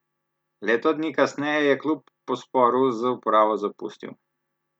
Leto dni kasneje je klub po sporu z upravo zapustil.